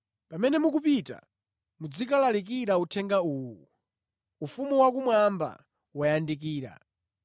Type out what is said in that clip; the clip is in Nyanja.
Pamene mukupita, muzikalalikira uthenga uwu: ‘Ufumu wakumwamba wayandikira.’